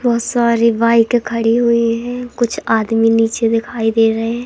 बहोत सारी बाइके खड़ी हुई है कुछ आदमी नीचे दिखाई दे रहे है।